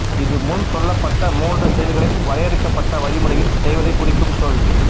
இது முன் சொல்லப்பட்ட மூன்று செயல்களை வரையறுக்கப்பட்ட வழிமுறையில் செய்வதைக் குறிக்கும் சொல்